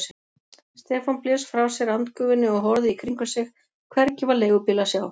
Stefán blés frá sér andgufunni og horfði í kringum sig, hvergi var leigubíl að sjá.